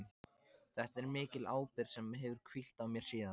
Þetta er mikil ábyrgð sem hefur hvílt á mér síðan.